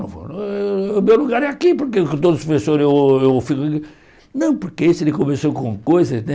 Não vou o o meu lugar é aqui, porque com todos os professores eu eu fico aqui... Não, porque esse ele começou com coisa, né?